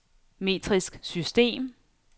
metrisk system